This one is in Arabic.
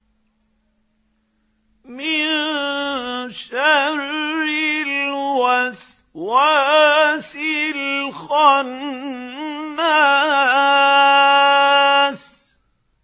مِن شَرِّ الْوَسْوَاسِ الْخَنَّاسِ